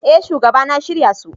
Eh shugaba na shirya su.